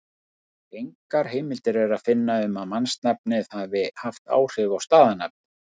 Engar heimildir er að finna um að mannsnafnið hafi haft áhrif á staðarnafnið.